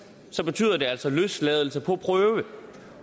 betyder det altså løsladelse på prøve